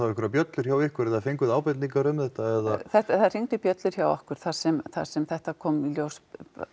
einhverjar bjöllur hjá ykkur eða fenguð þið ábendingar um þetta eða það hringdu bjöllur hjá okkur þar sem þar sem þetta kom í ljós